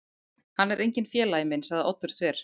Hann er enginn félagi minn sagði Oddur þver